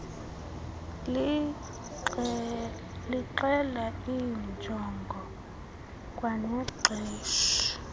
lixela iinjongo kwanexesha